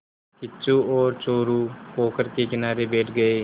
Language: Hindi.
किच्चू और चोरु पोखर के किनारे बैठ गए